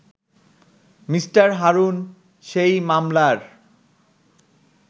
Me. Harun সেই মামলার